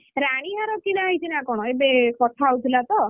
ରାଣୀ ହାର କିଣା ହେଇଛି ନା କଣ, ଏବେ କଥା ହଉଥିଲା ତ